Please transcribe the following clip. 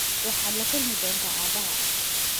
Waxaad la kulmi doontaa aabbahaa.